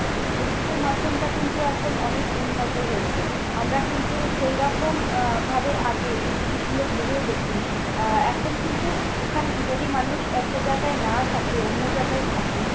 এই পরীক্ষার মাধ্যমটা কিন্তু এখন অনেক উন্নত হয়েছে। আমরা কিন্তু সেইরকম আহ ভাবে আগে এই জিনিসগুলো ভেবেও দেখিনি। আহ এখন কিন্তু এখানে, যদি মানুষ একটা জায়গায় নাও থাকে, অন্য জায়গায় থাকে